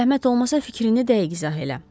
Zəhmət olmasa fikrini dəqiq izah elə.